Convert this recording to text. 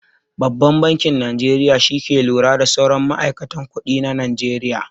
Babban bankin Najeriya shi ke lura da sauran ma'aikatan kuɗi a najeriya.